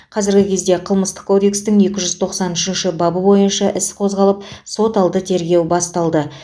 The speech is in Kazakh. қазіргі кезде қылмыстық кодекстің екі жүз тоқсан үшінші бабы бойынша іс қозғалып соталды тергеу басталды